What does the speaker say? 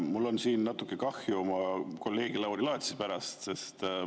Mul on natuke kahju oma kolleegist Lauri Laatsist.